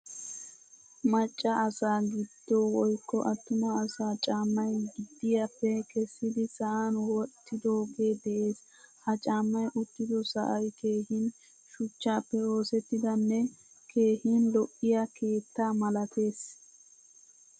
Macca asa gido woykko attuma asaa caamay gediyappe kesidi sa'an wottidoge de'ees. Ha caamay uttido sa'ay keehin shuchchappe oosettidane keehin lo'iyaa keettaa malattees.